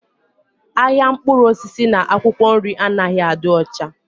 Ahịa mkpụrụ osisi na akwụkwọ nri anaghị adị ọcha.